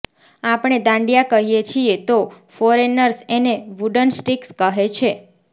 આપણે દાંડિયા કહીએ છીએ તો ફોરેનર્સ એને વૂડન સ્ટિક્સ કહે છે